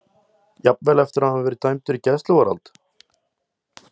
Jafnvel eftir að hann hefur þegar verið dæmdur í gæsluvarðhald?